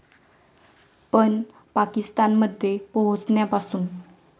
पण पाकिस्तानमध्ये पोहोचण्यापासून.